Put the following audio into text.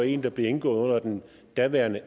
en der blev indgået under den daværende